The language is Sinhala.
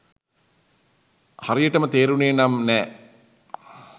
හරියටම තේරුනේ නම් නෑ.